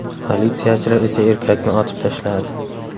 Politsiyachilar esa erkakni otib tashladi.